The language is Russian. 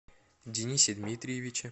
денисе дмитриевиче